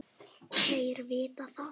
Þér vitið það.